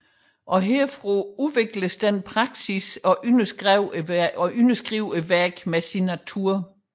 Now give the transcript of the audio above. Herfra udvikledes den praksis at underskrive værket med signatur